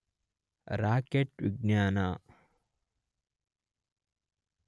rocket ವಿಜ್ಞಾನ